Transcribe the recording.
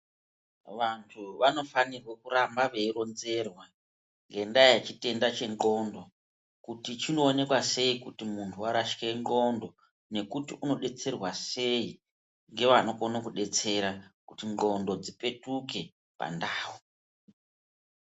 Vantu vanofanirwe kuramba veironzerwa ngendaa yechitenda chendxondo, kuti chinoonekwa sei kuti muntu warashike ndxondo nekuti unodetserwa sei ngevanokono kudetsere kuti ndxondo dzipetuke pandau.